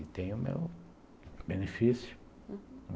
E tenho meu benefício, uhum.